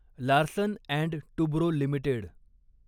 Larsen and Toubro limited